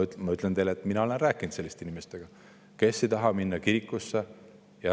Ma ütlen teile, et mina olen rääkinud selliste inimestega, kes ei taha enam kirikusse minna.